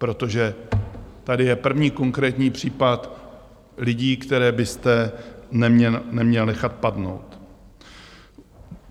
Protože tady je první konkrétní případ lidí, které byste neměl nechat padnout.